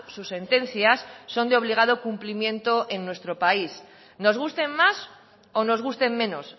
sus sentencias son de obligado cumplimiento en nuestro país nos gusten más o nos gusten me nos